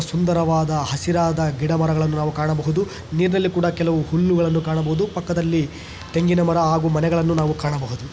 ಸುಂದರವಾದ ಹಸಿರಾದ ಗಿಡಮರಗಳನ್ನು ನಾವು ಕಾಣಬಹುದು ನೀರಿನಲ್ಲಿ ಕೂಡ ಕೆಲವು ಹುಲ್ಲುಗಳನ್ನು ಕಾಣಬಹುದು ಪಕ್ಕದಲ್ಲಿ ತೆಂಗಿನ ಮರ ಹಾಗೂ ಮನೆಗಳನ್ನು ನಾವು ಕಾಣಬಹುದು .